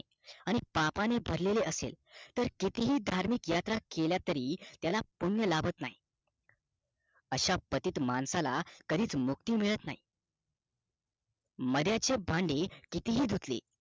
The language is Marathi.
आणि पापाने भरलेले असेल तर कितीही धार्मिक यात्रा केल्या तरी त्याला पुण्य लाभत नाही अशा पतित माणसाला कधीच मुक्ती मिळत नाही मद्याचे भाडे कितीही धुतले